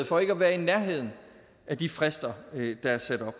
for ikke at være i nærheden af de frister der er sat